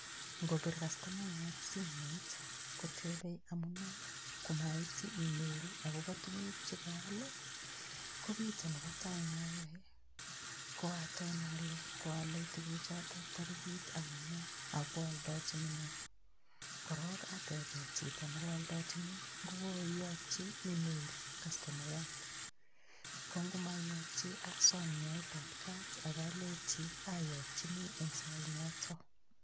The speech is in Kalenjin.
Ngopir kastomayat simoit kotebei amune komaityi email akobo tukuk chekoal ko kito nebo tai nayoe ko aton ale koalei tukuchoto torikit anono ako kooldochini ng'o korok atebe chito nekooldochini ngukoiyokchi email kastomayat kongumaiyokchi asom nyoetab kat akalechi ayokchini eng' sait noto